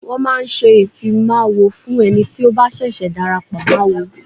Wọ́n máa ń ṣe ìfimáwo fún ẹni tí ó bá ṣẹ̀ṣẹ̀ darapọ̀ mọ́ awo.